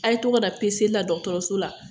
A ye to ka na peseli la dɔgɔtɔrɔso la